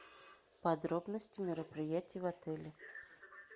подробности мероприятий в отеле